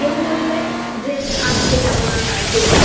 হয় কেউ বলবে যে আজকে যাবো না কালকে চ